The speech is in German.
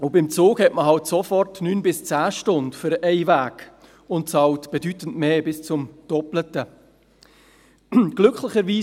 Beim Zug dauert die Reise 9 bis 10 Stunden für einen Weg, und man bezahlt bedeutend mehr, bis hin zum doppelten Preis.